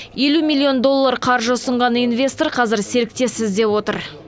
елу миллион доллар қаржысын ұсынған инвестор қазір серіктес іздеп отыр